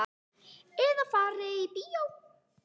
Eða fari í bíó.